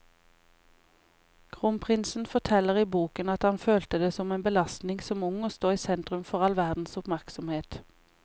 Kronprinsen forteller i boken at han følte det som en belastning som ung å stå i sentrum for all verdens oppmerksomhet.